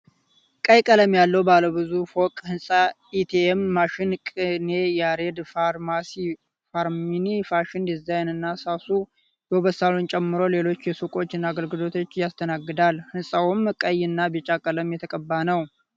ቀይ ቀለም ያለው ባለ ብዙ ፎቅ ሕንፃ ኤቴኤም ማሽን፣ ቅኔ ያሬድ ፋርማሲ፣ ሃርመኒ ፋሽን ዲዛይን እና ሳሱ የዉበት ሳሎን ጨምሮ ሌሎች ሱቆችን እና አገልግሎቶችን ያስተናግዳል። ህንጻውም ቀይ እና ቢጫ ቀለም የተቀባ ነው።